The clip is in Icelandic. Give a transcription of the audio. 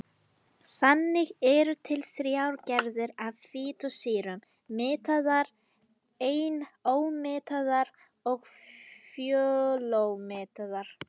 Þannig eru til þrjár gerðir af fitusýrum: mettaðar, einómettaðar og fjölómettaðar.